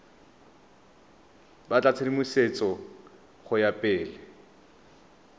batla tshedimosetso go ya pele